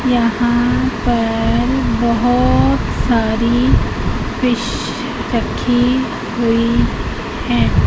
यहां पर बहोत सारी फिश रखी हुई है।